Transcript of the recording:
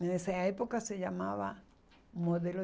Nessa época se chamava modelo